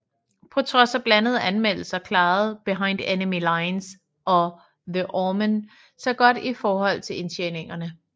På trods af blandede anmeldelser klarede Behind Enemy Lines og The Omen sig godt i forhold til indtjeningerne